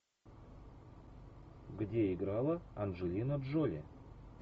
где играла анджелина джоли